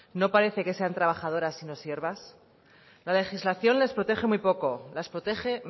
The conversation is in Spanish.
no parecen que sean trabajadora sino siervas la legislación les protege muy poco las protege